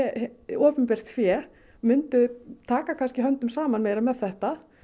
opinbert fé myndu taka höndum saman meir a með þetta